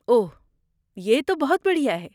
اوہ، یہ تو بہت بڑھیا ہے۔